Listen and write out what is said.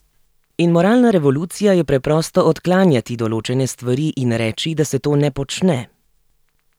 In moralna revolucija je preprosto odklanjati določene stvari in reči, da se to ne počne.